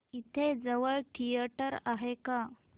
इथे जवळ थिएटर आहे का